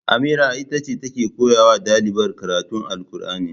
Amira itace take koyawa ɗalibar karatun alkur'ani